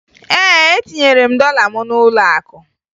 Ee, etinyere m dọla m n'ụlọakụ